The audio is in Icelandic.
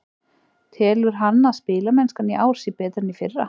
Telur hann að spilamennskan í ár sé betri en í fyrra?